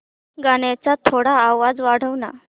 गाण्याचा थोडा आवाज वाढव ना